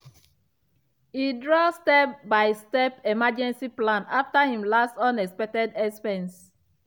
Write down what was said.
e draw step-by-step emergency plan after him last unexpected expense.